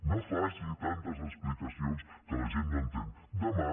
no faci tantes expli cacions que la gent no entén demà